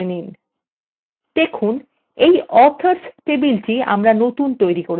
এই authors টেবিলটি আমরা নতুন তৈরী করেছি